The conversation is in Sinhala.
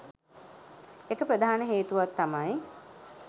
එක ප්‍රධාන හේතුවක් තමයි